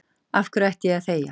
Af hverju ætti ég að þegja?